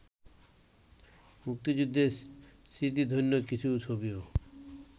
মুক্তিযুদ্ধের স্মৃতিধন্য কিছু ছবিও